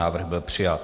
Návrh byl přijat.